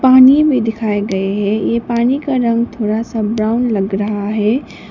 पानी भी दिखाई गए है ये पानी का रंग थोड़ा सा ब्राउन लग रहा है।